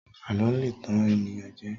àlọ le tan ènìyàn jẹ